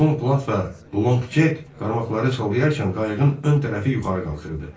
Tom plat və Long Check qarmaqları salarkən qayığın ön tərəfi yuxarı qalxırdı.